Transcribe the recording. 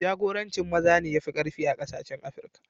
Jakorancin maza ne ya fi ƙarfi a kasashen Afrika.